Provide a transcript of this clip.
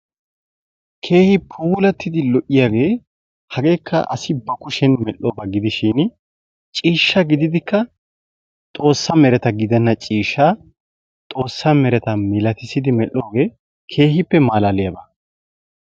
Keehi puulattidi lo'iygee hageeka asi ba kushen medhoba gidishiini ciishsha gididika xoossa mereta gidenna ciishshaa xoossa mereta milatisidi medhooge keehippe malaaliyaba.